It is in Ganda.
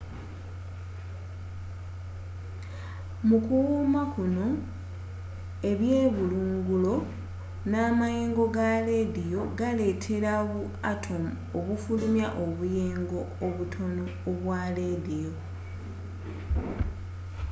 mu kuwuuma kuno ebyebulungulo n'amayengo ga lediyo galetera bu atomu okufulumya obuyengo obutono obwa lediyo